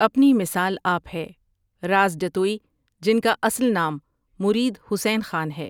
اپنی مثال آپ ہے رازجتوئی جن کا اصل نام مرید حسین خان ہے ۔